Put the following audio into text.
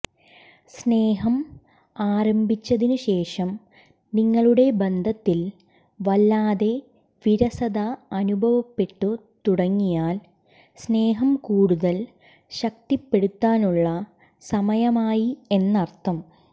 സ്നേഹം ആരംഭിച്ചതിന് ശേഷം നിങ്ങളുടെ ബന്ധത്തിൽ വല്ലാതെ വിരസത അനുഭവപ്പെട്ടു തുടങ്ങിയാൽ സ്നേഹം കൂടുതൽ ശക്തിപ്പെടുത്താനുള്ള സമയമായി എന്നർത്ഥം